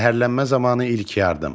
Zəhərlənmə zamanı ilk yardım.